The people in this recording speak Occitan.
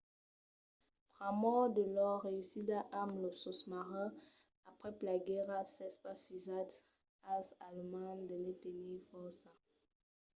pr'amor de lor reüssida amb los sosmarins aprèp la guèrra s'es pas fisat als alemands de ne tenir fòrça